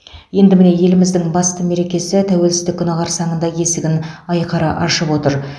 енді міне еліміздің басты мерекесі тәуелсіздік күні қарсаңында есігін айқара ашып отыр